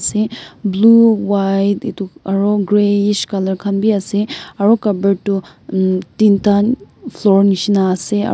se blue white itu aro greyish color khan bi ase aro Cupboard tu mm tinta floor nishina ase aro--